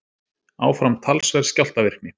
Áfram talsverð skjálftavirkni